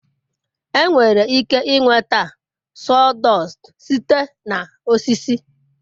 enwere ike nweta sawdust site na osisi